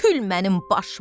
Kül mənim başıma!